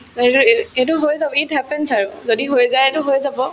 সেইটো হৈ যাবি it happens আৰু যদি হৈ যায়তো হৈয়ে যাব